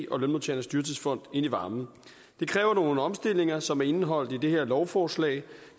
og lønmodtagernes dyrtidsfond ind i varmen det kræver nogle omstillinger som er indeholdt i det her lovforslag